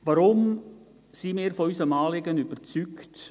Warum sind wir von unserem Anliegen überzeugt?